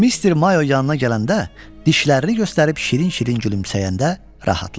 Mister Mayo yanına gələndə dişlərini göstərib şirin-şirin gülümsəyəndə rahatlaşdı.